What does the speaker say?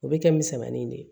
O bɛ kɛ misɛnmanin de ye